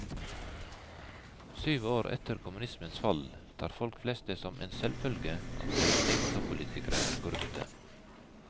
Syv år etter kommunismens fall tar folk flest det som en selvfølge at deres egne toppolitikere er korrupte.